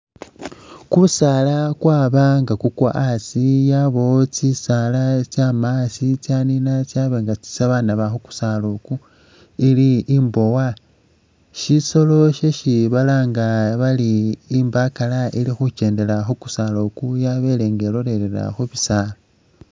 Kusaala kwaba nga kukwa asi yabawo tsisaala itsyaama tsyanina tsyaba nga tsesi banaba khu kusaala oku ili imbowa. Syisolo syesi balanga bari imbakala ili khukendela khu kusaala oku yabele nga ilolelela khu bisaala.